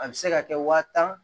A bɛ se ka kɛ waa tan